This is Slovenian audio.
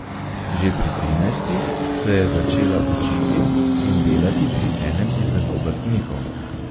Že pri trinajstih se je začela učiti in delati pri enem izmed obrtnikov.